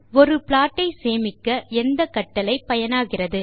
ஒரு ப்ளாட் ஐ சேமிக்க எந்த கட்டளை பயனாகிறது